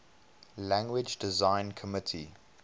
language design committee